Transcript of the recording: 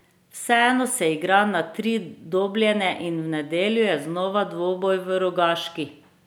Vseeno se igra na tri dobljene in v nedeljo je znova dvoboj v Rogaški.